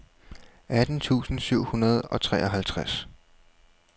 atten tusind syv hundrede og treoghalvtreds